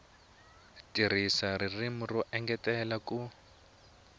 tirhisa ririmi ro engetela ku